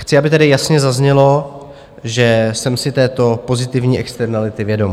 Chci, aby tedy jasně zaznělo, že jsem si této pozitivní externality vědom.